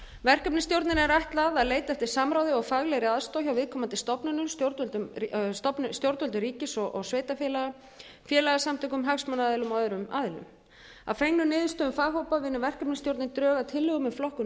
verkefnisstjórninni er ætlað að leita eftir samráði og faglegri aðstoð hjá viðkomandi stofnunum stjórnvöldum ríkis og sveitarfélaga félagasamtökum hagsmunaaðilum og öðrum aðilum að fengnum niðurstöðum faghópa vinnur verkefnisstjórnin drög að tillögum um flokkun